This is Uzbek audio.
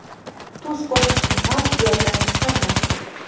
Tuz qo‘shishni ham yoddan chiqarmang.